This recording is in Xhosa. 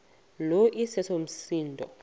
lo iseso msindo